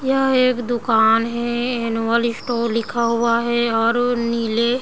यह एक दुकान है एनुअल स्टोर लिखा हुआ है और वो नीले --